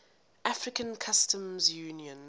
african customs union